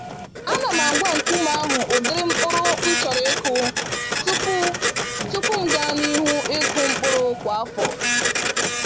Ana m agwa nkume ahụ ụdịrị mkpụrụ m chọrọ ịkụ tupu tupu m gaa n'ihu ịkụ mkpụrụ kwa afọ